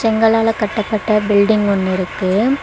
செங்களால கட்டப்பட்ட பில்டிங் ஒன்னு இருக்கு.